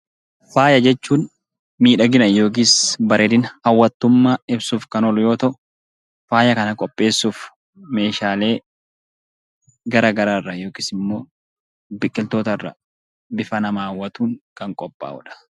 Faayaa jechuun miidhaginaa yookiin bareedina ibsuuf kan oolu yoo ta'u faaya kana qopheessuuf meeshaalee garagaraa irraa yookiin biqiloota irraa bifa nama haawwatuun kan qophaa'uudha